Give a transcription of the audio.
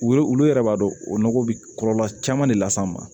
Olu yɛrɛ b'a dɔn o nɔgɔ bɛ kɔlɔlɔ caman de las'an ma